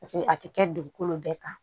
Paseke a tɛ kɛ dugukolo bɛɛ kan